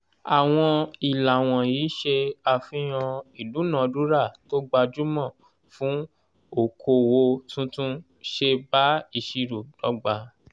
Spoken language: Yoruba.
àwọn ìlà wọ̀nyí ṣe àfihàn ìdúnadúràá tó gbajúmọ̀ fún okoòwò tuntun ṣe bá ìṣirò dọ́gba.